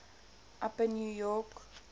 upper new york